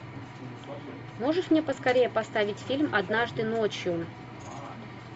можешь мне поскорее поставить фильм однажды ночью